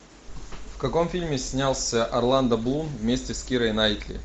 в каком фильме снялся орландо блум вместе с кирой найтли